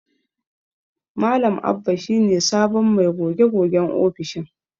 Malam Abba shi ne sabon mai goge-gogen ofishin.